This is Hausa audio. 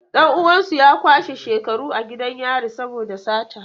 Dan uwansu ya kwashe shekaru a gidan yari saboda sata.